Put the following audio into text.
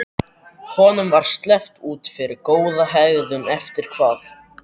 Honum var sleppt út fyrir góða hegðun eftir hvað?